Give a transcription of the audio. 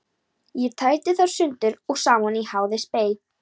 Ég tæti þær sundur og saman í háði og spéi.